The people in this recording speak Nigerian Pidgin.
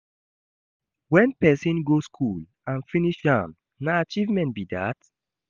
When persin go school and finish am na achievement be that